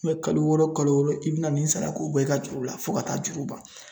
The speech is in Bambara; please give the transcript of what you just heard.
I bɛ kalo wɔɔrɔ, kalo wɔɔrɔ, i bɛna nin sara k'o bɔ i ka juru la fo ka taa juru ban.